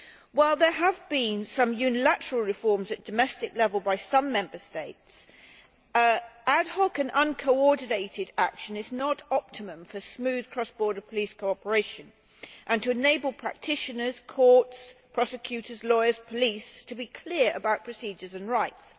While there have been some unilateral reforms at domestic level by some Member States, ad hoc and uncoordinated action is not optimum for smooth cross border police cooperation and to enable practitioners, courts, prosecutors, lawyers and police to be clear about procedures and rights.